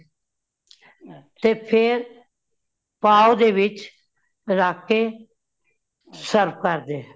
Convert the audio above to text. ਤੇ ਫੇਰ ਪਾਓ ਦੇ ਵਿਚ ਰੱਖ ਕੇ, serve ਕਰ ਦੇ